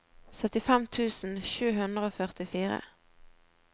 syttifem tusen sju hundre og førtifire